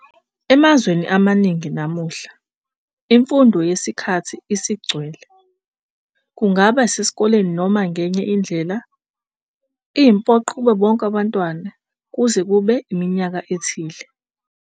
Emazweni amaningi namuhla, imfundo yesikhathi esigcwele, kungaba sesikoleni noma ngenye indlela, iyimpoqo kubo bonke abantwana kuze kube iminyaka ethile.